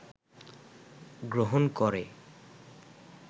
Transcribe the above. গ্রহণ করে